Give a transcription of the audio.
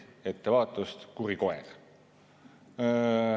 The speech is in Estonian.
Ettevaatust, kuri koer!".